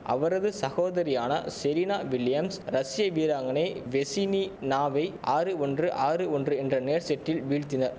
அவரது சகோதரியான Serena Williams ரஷிய வீராங்கனை வெசினினாவை ஆறு ஒன்று ஆறு ஒன்று என்ற நேர் செட்டில் வீழத்தின